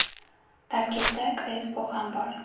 Tarkibda Krespo ham bor.